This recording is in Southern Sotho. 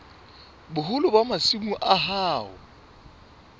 boholo ba masimo a hao